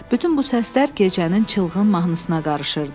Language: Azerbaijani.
Bütün bu səslər gecənin çılğın mahnısına qarışırdı.